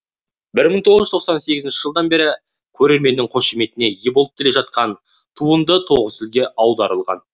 бір мың тоғыз жүз тоқсан сегізінші жылдан бері көрерменнің қошеметіне ие болып келе жатқан туынды тоғыз тілге аударылған